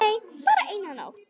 Nei, bara eina nótt.